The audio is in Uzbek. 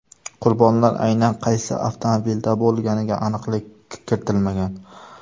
Qurbonlar aynan qaysi avtomobilda bo‘lganiga aniqlik kiritilmagan.